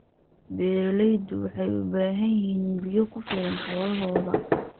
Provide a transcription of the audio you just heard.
Beeraleydu waxay u baahan yihiin biyo ku filan xoolahooda.